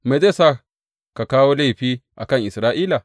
Me zai sa ka kawo laifi a kan Isra’ila?